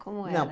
Como era? Não